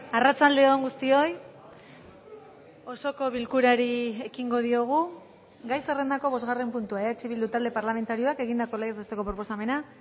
arratsalde on guztioi osoko bilkurari ekingo diogu gai zerrendako bosgarren puntua eh bildu talde parlamentarioak egindako legez besteko proposamena